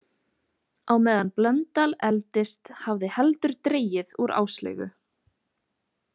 Á meðan Blöndal efldist hafði heldur dregið úr Áslaugu.